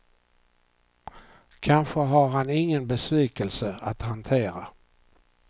Kanske har han ingen besvikelse att hantera.